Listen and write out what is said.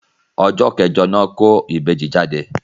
Ọjọ́ kẹ́jọ ní wọ́n kó ìbejì jáde